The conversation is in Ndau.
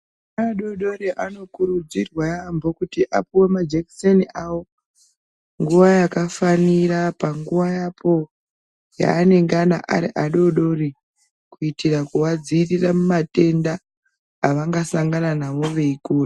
Vana adodori vanokurudzirwa yambo kuti apuwe majekiseni avo panguwa yakafanira panguva apo yanengana ari adodori kuitira kuvadzivirira kumatenda avangasangana nawo veikura.